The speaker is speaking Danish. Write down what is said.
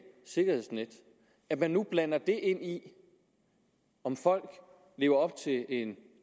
sikkerhedsnet at man nu blander det ind i det om folk lever op til en